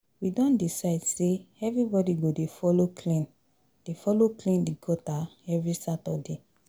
We don decide sey everybodi go dey folo clean dey folo clean di gutter every Saturday.